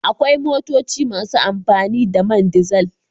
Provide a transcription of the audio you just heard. Akwai motoci masu amfani da man dizel.